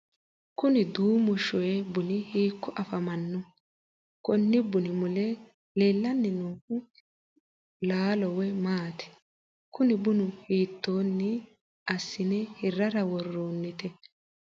kuni duumu shoye buni hiikko afamannoho? konni bunu mule leellanni noohu laalo wole maati? kuni bunu hiittoonni assine hirrara worroonnite?